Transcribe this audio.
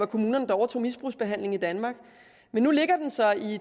kommunerne overtog misbrugsbehandlingen i danmark men nu ligger den så